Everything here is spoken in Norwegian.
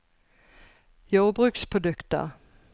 jordbruksprodukter